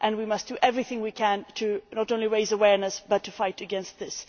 We must do everything we can not only to raise awareness, but to fight against this.